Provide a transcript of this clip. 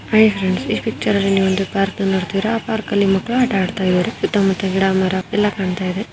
Hi friends ಈ picture ನಲ್ಲಿ ಒಂದು ಪಾರ್ಕ್ ನ ನೋಡ್ತೀರ ಆ ಪಾರ್ಕ್ ನಲ್ಲಿ ಮಕ್ಳು ಆಟ ಆಡ್ತಿದ್ದಾರೆ ಸುತ್ತಮುತ್ತ ಗಿಡ ಮರ ಎಲ್ಲಾ ಕಾಣ್ತಾ ಇದೆ.